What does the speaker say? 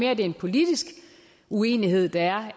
er en politisk uenighed der